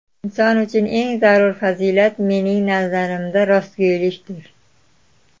Inson uchun eng zarur fazilat, mening nazarimda, rostgo‘ylikdir.